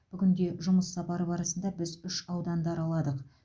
бүгінде жұмыссапары барысында біз үш ауданды араладық